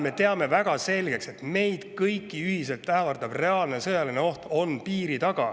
Me teame väga selgelt, et meid kõiki ühiselt ähvardab reaalne sõjaline oht piiri taga.